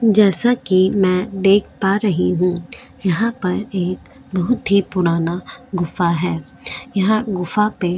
जैसा कि मैं देख पा रही हूं यहां पर एक बहुत ही पुराना गुफा है यहां गुफा पे --